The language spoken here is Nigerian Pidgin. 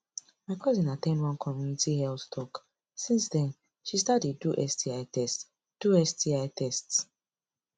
my cousin at ten d one community health talk since then she start dey do sti test do sti test